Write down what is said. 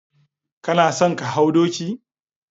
Kana son ka hau doki?